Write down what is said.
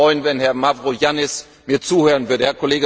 Ich würde mich freuen, wenn Herr Mavroyiannis mir zuhören würde.